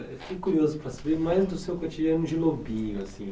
Fiquei curioso para saber mais do seu cotidiano de lobinho assim.